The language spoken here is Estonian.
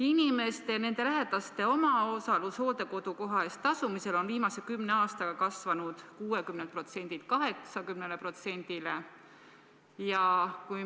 Inimeste ja nende lähedaste omaosalus hooldekodukoha eest tasumisel on viimase kümne aastaga kasvanud 60%-lt 80%-le.